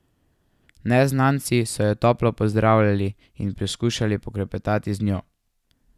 Neznanci so jo toplo pozdravljali in poskušali poklepetati z njo.